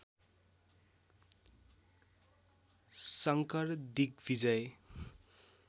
Shankar Digvijay